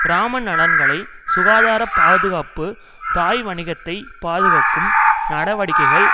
கிராம நலன்களை சுகாதார பாதுகாப்பு தாய் வணிகத்தை பாதுகாக்கும் நடவடிக்கைகள்